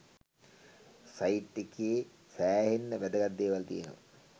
site එකේ සෑහෙන්න වැදගත් දේවල් තියෙනවා